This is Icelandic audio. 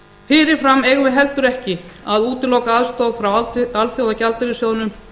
fyrir fram eigum við heldur ekki að útiloka aðstoð frá alþjóðagjaldeyrissjóðnum